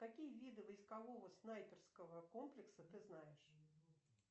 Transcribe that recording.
какие виды войскового снайперского комплекса ты знаешь